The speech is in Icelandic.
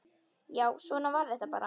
Já, svona var þetta bara.